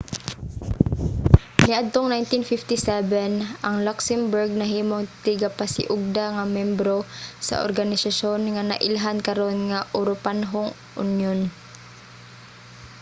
niadtong 1957 ang luxembourg nahimong tigpasiugda nga membro sa organisasyon nga nailhan karon nga uropanhong unyon